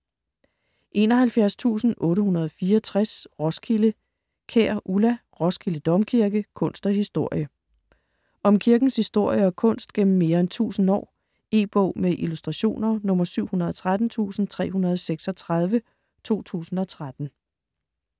71.864 Roskilde Kjær, Ulla: Roskilde Domkirke: kunst og historie Om kirkens historie og kunst gennem mere end tusind år. E-bog med illustrationer 713336 2013.